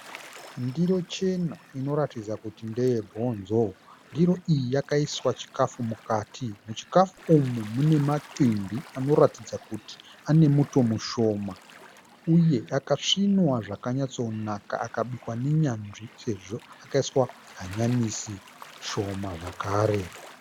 Ndiro chena inoratidza kuti ndeyebhonzo, ndiro iyi yakaiswa chikafu mukati. Muchikafu umu mune mancimbi anoratidza kuti ane muto mushoma uye akasvinwa zvakanyatsonaka akabikwa nenyanzi uye akaiswa hanyanisi shoma zvekare